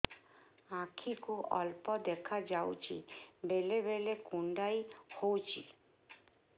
ଆଖି କୁ ଅଳ୍ପ ଦେଖା ଯାଉଛି ବେଳେ ବେଳେ କୁଣ୍ଡାଇ ହଉଛି